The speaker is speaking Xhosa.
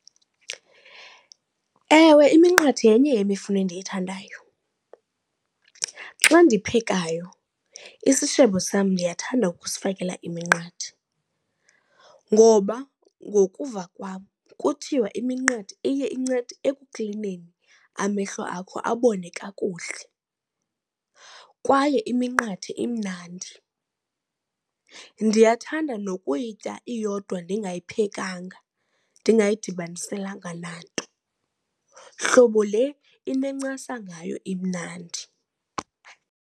Ewe, iminqathe yenye yemifuno endiyithandayo. Xa ndiphekayo isishebo sam ndiyathanda ukusifakela iminqathe ngoba ngokuva kwam kuthiwa iminqathe iye incede ekuklineni amehlo akho abone kakuhle. Kwaye iminqathe imnandi. Ndiyathanda nokuyitya iyodwa ndingayiphekanga, ndingayadibaniselanga nanto. Hlobo le inencasa ngayo imnandi.